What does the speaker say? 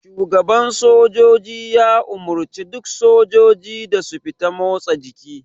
Shugaban sojoji ya umarce duk sojiji da su fita motsa jiki.